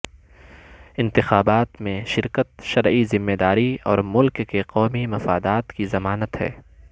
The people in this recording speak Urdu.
انتخابات میں شرکت شرعی ذمہ داری اور ملک کے قومی مفادات کی ضمانت ہے